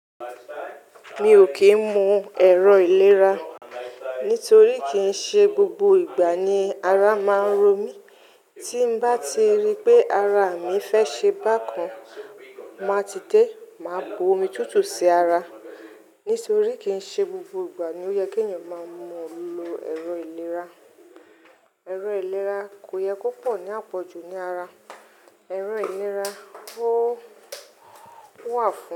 Mi ò kì ń mu ẹ̀rọ ìlera nítorí kì í ṣe gbogbo ìgbà ni ara máa ń ro mí. Tí bá ti rí pé ara mi fẹ́ ṣe bákan, màá ti dé, màá bu omi tútù sí ara. Nítorí kì í ṣe gbogbo ìgbà ni ó yẹ kí ẹ̀yàn máa mú lo ẹ̀rọ ìlera. Ẹ̀rọ ìlera kò yẹ kó pọ̀ ní àpọ̀jù ní ara. Ẹ̀rọ ìlera ó wà fún.